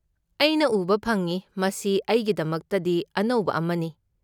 ꯑꯩꯅ ꯎꯕ ꯐꯪꯏ, ꯃꯁꯤ ꯑꯩꯒꯤꯗꯃꯛꯇꯗꯤ ꯑꯅꯧꯕ ꯑꯃꯅꯤ꯫